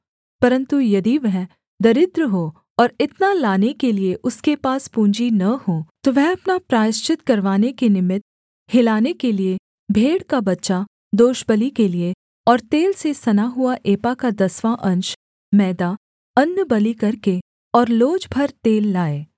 परन्तु यदि वह दरिद्र हो और इतना लाने के लिये उसके पास पूँजी न हो तो वह अपना प्रायश्चित करवाने के निमित्त हिलाने के लिये भेड़ का बच्चा दोषबलि के लिये और तेल से सना हुआ एपा का दसवाँ अंश मैदा अन्नबलि करके और लोज भर तेल लाए